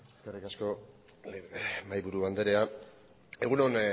eskerrik asko mahaiburu andrea egun on